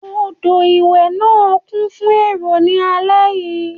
Odò ìwẹ̀ náà kún fún èrò ní alẹ́ yìí.